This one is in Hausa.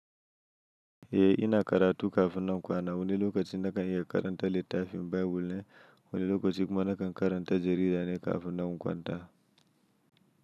Eh ina karatu kafin na kwana wani lokacin nakan iya karanta littafin Bible ne, wani lokacin kuma naka karanta jarida ne kafin nan in kwanta.